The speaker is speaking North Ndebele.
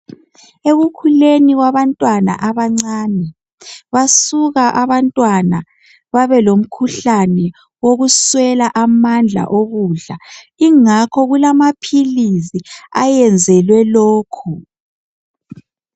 Ekukhuleni kwabantwana abancane , basuka abantwana babe lomkhuhlane wokuswela amandla wokudla ingakho kulamaphilisi ayenzelwe lokho